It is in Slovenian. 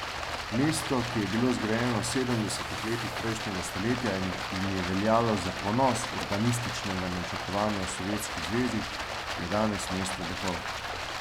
Mesto, ki je bilo zgrajeno v sedemdesetih letih prejšnjega stoletja in je veljalo za ponos urbanističnega načrtovanja v Sovjetski zvezi, je danes mesto duhov.